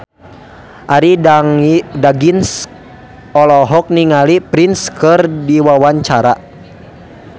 Arie Daginks olohok ningali Prince keur diwawancara